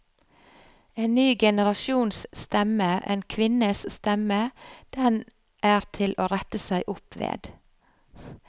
En ny generasjons stemme, en kvinnes stemme, den er til å rette seg opp ved.